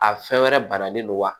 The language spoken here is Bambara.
A fɛn wɛrɛ banalen don wa